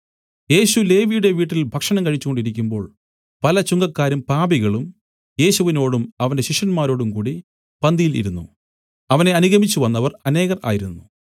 യേശു ലേവിയുടെ വീട്ടിൽ ഭക്ഷണം കഴിച്ചുകൊണ്ടിരിക്കുമ്പോൾ പല ചുങ്കക്കാരും പാപികളും യേശുവിനോടും അവന്റെ ശിഷ്യന്മാരോടും കൂടി പന്തിയിൽ ഇരുന്നു അവനെ അനുഗമിച്ചുവന്നവർ അനേകർ ആയിരുന്നു